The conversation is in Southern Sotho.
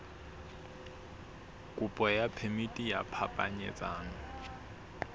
kopo ya phemiti ya phapanyetsano